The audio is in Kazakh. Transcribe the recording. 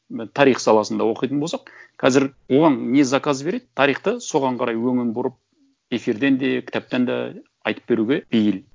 тарих саласында оқитын болсақ қазір оған не заказ береді тарихты соған қарай өңін бұрып эфирден де кітаптан да айтып беруге бейіл